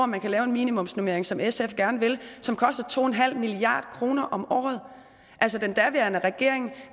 man kan lave en minimumsnormering sådan som sf gerne vil som koster to milliard kroner om året den daværende regering